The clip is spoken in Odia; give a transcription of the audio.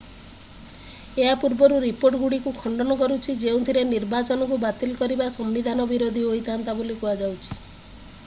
ଏହା ପୂର୍ବ ରିପୋର୍ଟଗୁଡ଼ିକୁ ଖଣ୍ଡନ କରୁଛି ଯେଉଁଥିରେ ନିର୍ବାଚନକୁ ବାତିଲ କରିବା ସମ୍ବିଧାନ ବିରୋଧୀ ହୋଇଥାନ୍ତା ବୋଲି କୁହାଯାଇଛି